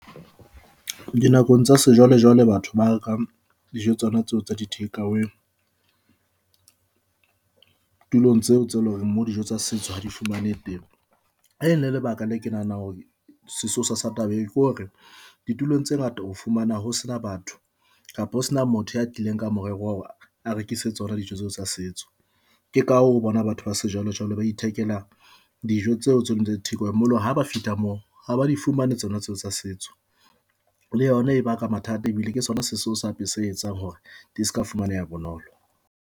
Dinakong tsa sejwalejwale batho ba rekang dijo tsona tseo tsa di-takeaway tulong tseo tse leng hore moo dijo tsa setso ha di fumanehe teng. Ene lebaka la ke nahanang hore sesosa sa taba e ke hore ditulong tse ngata ho fumana ho sena batho kapa ho sena motho ya tlileng ka morero wa hore a rekise tsona dijo tseo tsa setso. ke ka hoo bona batho ba sejwalejwale ba ithekela dijo tseo tse ding tsa theko ya moloa ha ba fihla moo ha ba di fumane tsona tseo tsa setso le yona e baka mathata ebile ke sona sesa se etsang hore di se ka fumaneha bonolo.